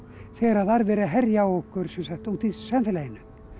þegar var verið að herja á okkur úti í samfélaginu